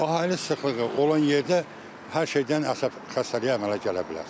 Əhali sıxlığı olan yerdə hər şeydən əsəb xəstəliyi əmələ gələ bilər.